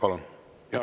Palun!